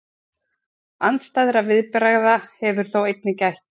Andstæðra viðbragða hefur þó einnig gætt.